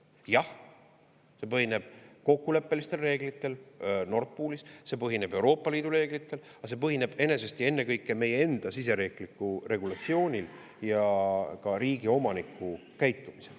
Jah, see põhineb kokkuleppelistel reeglitel Nord Poolis, see põhineb Euroopa Liidu reeglitel, aga see põhineb enesest ja ennekõike meie enda siseriikliku regulatsiooni ja ka riigi, omaniku käitumisel.